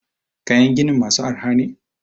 kayan ginin masu arha ne?